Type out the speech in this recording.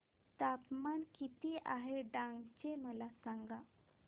तापमान किती आहे डांग चे मला सांगा